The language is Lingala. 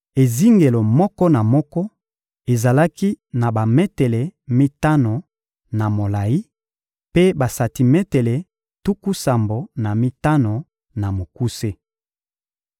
Ezingelo moko na moko ezalaki na bametele mitano na molayi, mpe basantimetele tuku sambo na mitano na mokuse.